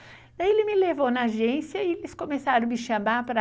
Daí ele me levou na agência e eles começaram a me chamar para...